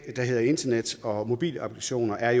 der hedder internet og mobilapplikationer er